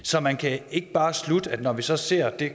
så man kan ikke bare slutte at når vi så ser det